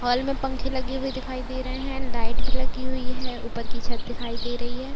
हाल मे पंखे लगे हुए दिखाई दे रहे हैं। लाइट भी लगी हुई है। ऊपर की छत दिखाई दे रही है।